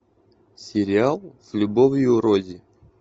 сериал с любовью рози